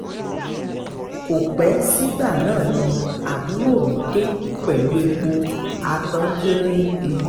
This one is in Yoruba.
ko pẹ sigba naa ni aburo mi de pẹlu epo atanjere n te